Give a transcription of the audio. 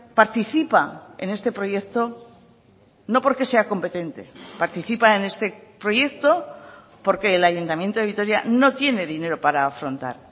participa en este proyecto no porque sea competente participa en este proyecto porque el ayuntamiento de vitoria no tiene dinero para afrontar